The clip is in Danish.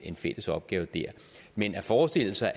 en fælles opgave dér men at forestille sig